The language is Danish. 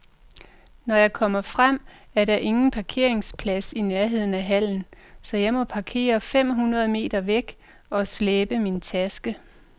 Når jeg kommer frem, er der ingen parkeringsplads i nærheden af hallen, så jeg må parkere fem hundrede meter væk og slæbe min taske.